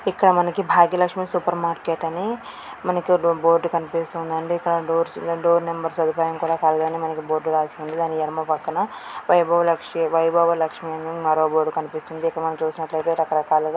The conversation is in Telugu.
ఇక్కడ మనకు భాగ్య లక్ష్మి సూపర్ మార్కెట్ అని బోర్డు కనిపిస్తూ ఉందండీ . ఇక్కడ డోర్స్ డోర్ నెంబర్ అవి కూడా పైన రాసి ఉన్నాయి. అక్కడ ఎడమ పక్క్కన వ-వై భవ లక్ష్మి వైభవ లక్ష్మి అని మరో బోర్డు